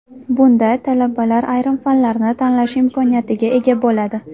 Bunda talabalar ayrim fanlarni tanlash imkoniyatiga ega bo‘ladi.